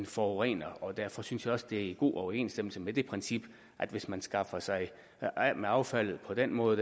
forurenere derfor synes jeg også det er i god overensstemmelse med det princip at hvis man skaffer sig af med affaldet på den måde